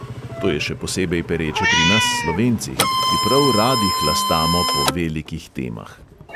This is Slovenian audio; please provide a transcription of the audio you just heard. To je še posebej pereče pri nas slovencih, ki prav radi hlastamo po velikih temah.